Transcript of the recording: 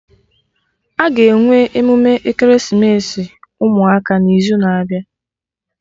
Aga enwe emume ekeresimesi ụmụaka n'izu na-abịa